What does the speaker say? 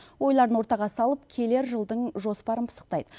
ойларын ортаға салып келер жылдың жоспарын пысықтайды